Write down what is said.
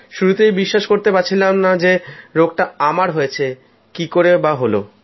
শুরুতে বিশ্বাসই করতে পারছিলাম না যে রোগটা আমার হয়েছে কী করেই বা হল